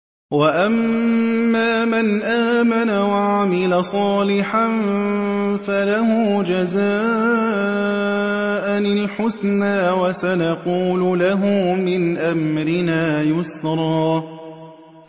وَأَمَّا مَنْ آمَنَ وَعَمِلَ صَالِحًا فَلَهُ جَزَاءً الْحُسْنَىٰ ۖ وَسَنَقُولُ لَهُ مِنْ أَمْرِنَا يُسْرًا